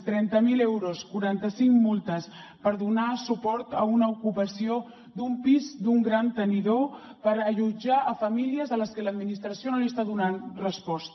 trenta mil euros quaranta cinc multes per donar suport a una ocupació d’un pis d’un gran tenidor per allotjar famílies a les que l’administració no està donant resposta